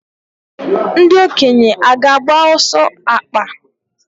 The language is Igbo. Ndị okenye aga-agba ọsọ akpa?